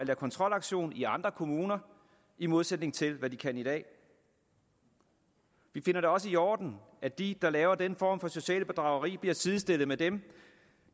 kontrolaktioner i andre kommuner i modsætning til hvad de kan i dag vi finder det også i orden at de der laver den form for socialt bedrageri bliver sidestillet med dem